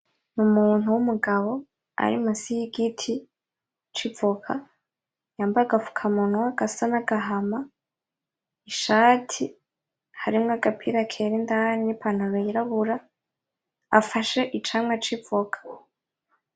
N'umuntu w’umugabo ari musi y’igiti c’ivoka yambaye agafukamunwa gasa n'agahama ,ishati harimwo agapira kera indani n'ipantaro yirabura afashe icamwa c’ivoka.